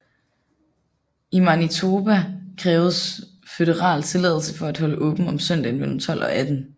I Manitoba kræves føderal tilladelse for at holde åbent om søndagen mellem 12 og 18